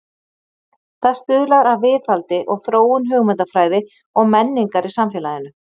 Það stuðlar að viðhaldi og þróun hugmyndafræði og menningar í samfélaginu.